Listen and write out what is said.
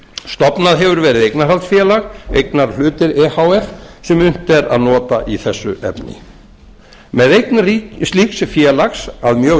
stofnað hefur verið eignarhaldsfélag eignarhlutir e h f sem unnt er að nota í þessu efni með eign slíks félags að mjög